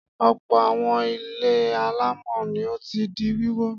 Ọ̀pọ̀ àwọn ilé alámọ̀ ni ó ti di wíwó.